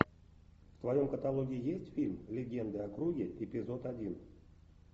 в твоем каталоге есть фильм легенды о круге эпизод один